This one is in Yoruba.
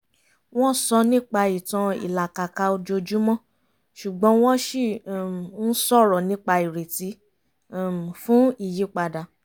wọ́n sọ nípa ìtàn ìlàkàkà ojoojúmọ́ ṣùgbọ́n wọ́n ṣì um ń sọ̀rọ̀ nípa ìrètí um fún ìyípadà